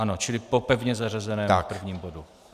Ano, čili po pevně zařazeném prvním bodu.